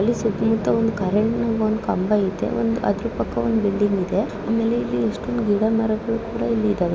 ಇಲ್ಲಿ ನಾವು ಏನು ನೋಡ್ತಾ ಇದ್ದೀರಿ ಅಂದ್ರೆ ಇಲ್ಲಿ ಹುಡುಗ ನೀರು ಕಡೆ ಎಲ್ಲಾ ಬ್ರಿಡ್ಜ್ ಮೇಲೆ ನಿಂತುಕೊಂಡು ಅಲ್ಲಿ ಫೋಟೋಸ್ ಹೇಳ್ತೀರೋದು ಅಂತ ನೋಡಬಹುದು